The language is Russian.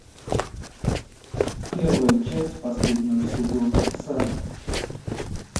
первая часть последнего сезона салем